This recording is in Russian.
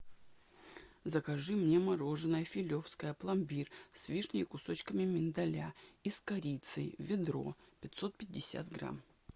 закажи мне мороженое филевское пломбир с вишней и кусочками миндаля и с корицей ведро пятьсот пятьдесят грамм